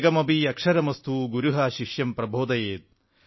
ഏകമപി അക്ഷരമസ്തു ഗുരുഃ ശിഷ്യം പ്രബോധയേത്